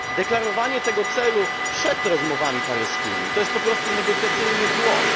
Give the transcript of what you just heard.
Deklarowanie tego celu przed rozmowami paryskimi to jest po prostu negocjacyjny błąd.